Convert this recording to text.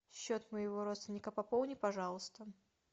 счет моего родственника пополни пожалуйста